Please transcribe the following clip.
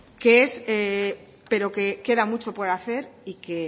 pero que queda mucho por hacer y que